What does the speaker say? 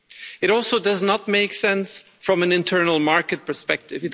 It also does not make sense from an internal market perspective.